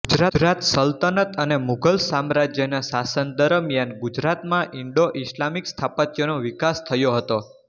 ગુજરાત સલ્તનત અને મુઘલ સામ્રાજ્યના શાસન દરમિયાન ગુજરાતમાં ઇન્ડોઇસ્લામિક સ્થાપત્યનો વિકાસ થયો હતો